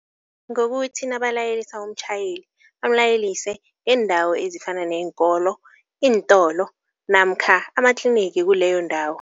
Ngokuthi nabalayelisa umtjhayeli, bamlayelise ngeendawo ezifana neenkolo, iintolo namkha amatliniki kuleyo ndawo.